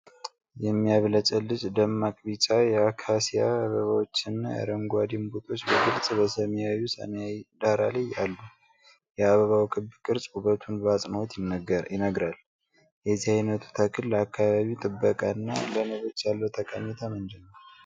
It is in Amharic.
የሚያብለጨልጭ ደማቅ ቢጫ የአካሲያ አበባዎችና አረንጓዴ እምቡጦች በግልጽ በሰማያዊው ሰማይ ዳራ ላይ አሉ። የአበባው ክብ ቅርጽ ውበቱን በአጽንዖት ይነግራል። የዚህ ዓይነቱ ተክል ለአካባቢ ጥበቃ እና ለንቦች ያለው ጠቀሜታ ምንድነው?